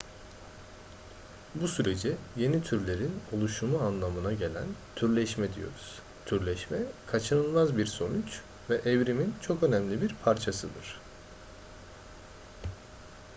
bu sürece yeni türlerin oluşumu anlamına gelen türleşme diyoruz türleşme kaçınılmaz bir sonuç ve evrimin çok önemli bir parçasıdır